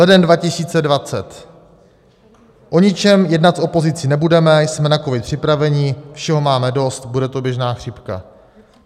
Leden 2020: O ničem jednat s opozicí nebudeme, jsme na covid připraveni, všeho máme dost, bude to běžná chřipka.